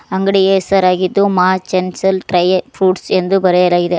ಅಂಗಡಿಯ ಹೆಸರಾಗಿದ್ದು Maa Chanchal dry fruits ಎಂದು ಬರೆಯಲಾಗಿದೆ.